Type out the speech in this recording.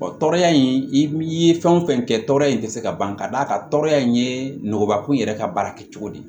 tɔɔrɔya in i ye fɛn o fɛn kɛ tɔɔrɔya in tɛ se ka ban ka d'a ka tɔɔrɔ in ye nɔgɔ ko yɛrɛ ka baara kɛcogo de ye